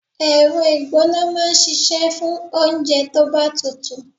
Ẹ̀rọ ìgbóná máa ń ṣíṣe fún oúnjẹ tó bá tutù.